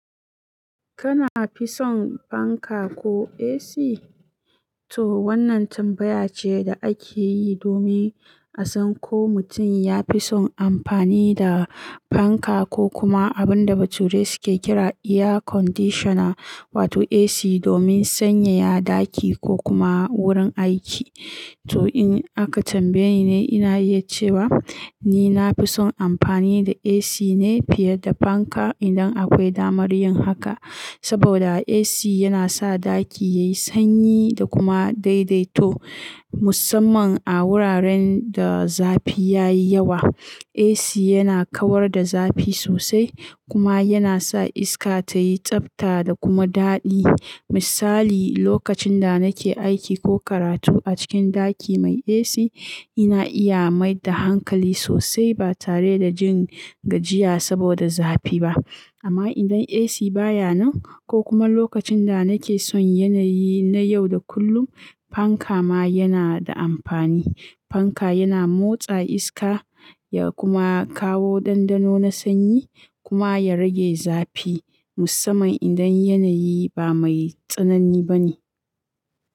Kana fison fanka ko AC? To wannan tambaya ce da ake yi domin a san ko mutum ya fi son amfani da fanka ko kuma abun da bature suke kira air conditioner wato AC domin sanyaya ɗaki ko kuma wurin aiki. To in aka tambaye ni, ina iya cewa ni na fi son amfani da AC ne fiye da fanka idan akwai damar yin haka. Saboda AC yana sa ɗaki yayi sanyi da kuma daidaito. Musamman a wuraren da zafi ya yi yawa, AC yana kawar da zafi sosai kuma yana sa iska tayi tsafta da kuma daɗi. Misali, lokacin da nake aiki ko karatu a cikin ɗaki mai AC, ina iya mai da hankali sosai ba tare da jin gajiya saboda zafi ba. Amma idan AC baya nan ko kuma lokacin da nake son yanayi na yau da kullum, fanka ma yana da amfani. Fanka yana motsa iska ya kuma kawo dandano na sanyi kuma ya rage zafi musamman idan yanayi ba mai tsanani ba ne.